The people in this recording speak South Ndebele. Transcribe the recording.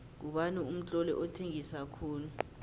ngubani umtloli othengisa khulu